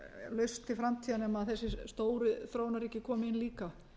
lausn til framtíðar nema þessir stóru þróunarríki komi inn líka